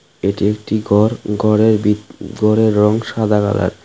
এটি একটি গর গরের ভিতরের রং সাদা কালার ।